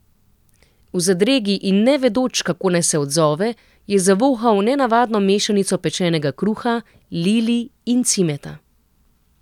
V zadregi in ne vedoč, kako naj se odzove, je zavohal nenavadno mešanico pečenega kruha, lilij in cimeta.